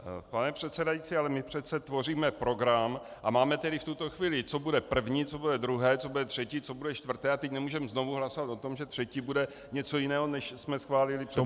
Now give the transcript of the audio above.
Pane předsedající, ale my přece tvoříme program a máme tedy v tuto chvíli, co bude první, co bude druhé, co bude třetí, co bude čtvrté a teď nemůžeme znovu hlasovat o tom, že třetí bude něco jiného, než jsme schválili před chvílí.